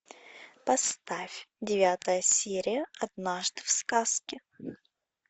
поставь девятая серия однажды в сказке